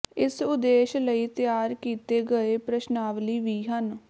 ਇਸ ਉਦੇਸ਼ ਲਈ ਤਿਆਰ ਕੀਤੇ ਗਏ ਪ੍ਰਸ਼ਨਾਵਲੀ ਵੀ ਹਨ